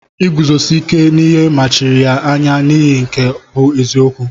Iguzosi ike n'ihe mechiri ya anya n'ịhụ nke bụ eziokwu.